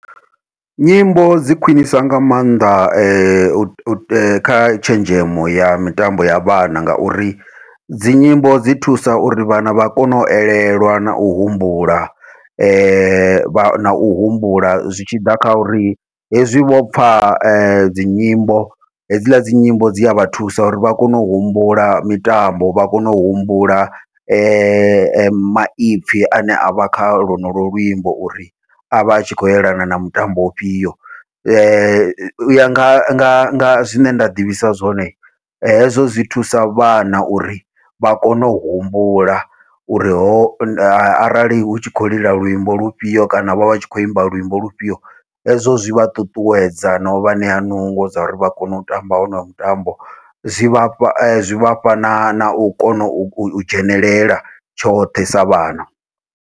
Nyimbo dzi khwiṋisa nga maanḓa u kha tshenzhemo ya mitambo ya vhana, ngauri dzi nyimbo dzi thusa uri vhana vha kone u elelwa nau humbula vha nau humbula zwi tshi ḓa kha uri hezwi vhopfha dzinyimbo hedzila dzi nyimbo dzi a vha thusa uri vha kone u humbula mitambo vha kone u humbula ma maipfhi ane avha kha lonolo luimbo uri avha a tshi khou elana na mutambo ufhio. Uya nga zwine nda ḓivhisa zwone hezwo zwi thusa vhana uri vha kone u humbula, uri ho arali hu tshi khou lila luimbo lufhio kana vha vha tshi khou imba luimbo lufhio hezwo zwi vha ṱuṱuwedza nau vha ṋea nungo dza uri vha kone u tamba wonoyo mutambo, zwi vhafha zwi vhafha na nau kona u dzhenelela tshoṱhe sa vhana.